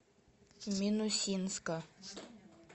минусинска